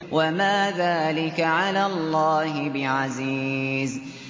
وَمَا ذَٰلِكَ عَلَى اللَّهِ بِعَزِيزٍ